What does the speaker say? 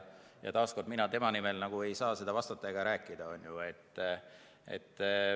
Taas kord: mina tema nimel vastata ega rääkida ei saa.